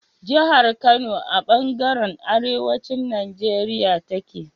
jahar Kano a banjaran arewacin Nigeria take